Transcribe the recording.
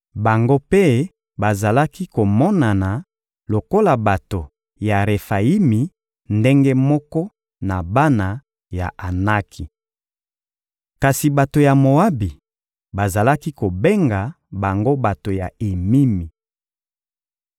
Bango mpe bazalaki komonana lokola bato ya Refayimi ndenge moko na bana ya Anaki. Kasi bato ya Moabi bazalaki kobenga bango bato ya Emimi.